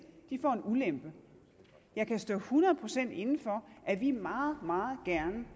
får en ulempe jeg kan stå hundrede procent inde for at vi meget meget gerne